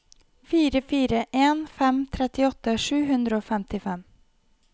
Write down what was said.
fire fire en fem trettiåtte sju hundre og femtifem